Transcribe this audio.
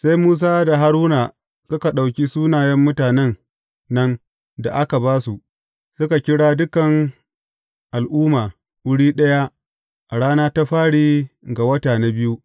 Sai Musa da Haruna suka ɗauki sunayen mutanen nan da aka ba su, suka kira dukan al’umma wuri ɗaya a rana ta fari ga wata na biyu.